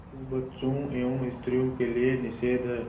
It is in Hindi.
किंतु बच्चों एवं स्त्रियों के लिए निषेध है